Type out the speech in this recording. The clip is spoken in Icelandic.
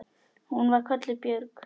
Hún var kölluð Björg.